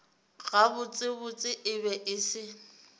gabotsebotse e be e se